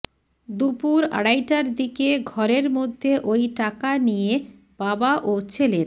দুপুর আড়াইটার দিকে ঘরের মধ্যে ওই টাকা নিয়ে বাবা ও ছেলের